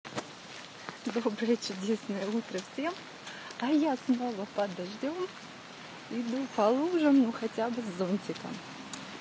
доброе чудесное утро всем а я снова подождём иду по лужам но хотя бы с зонтиком